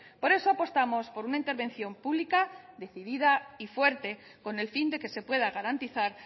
por eso apostamos por una intervención pública decidida y fuerte con el fin de que se pueda garantizar